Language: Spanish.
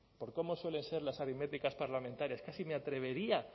por cómo suelen ser las aritméticas parlamentarias casi me atrevería